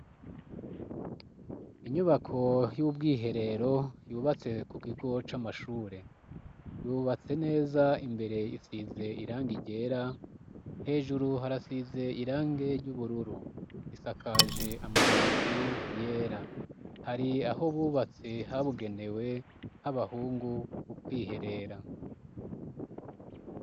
inyubako y'ubwiherero yubatse mu kigo c'amashure yubatse neza imbere isize irange ryera hejuru harasize irange ry'ubururu isakaje amabati yera hari aho bubatse habugenewe h'abahungu mu kwiherera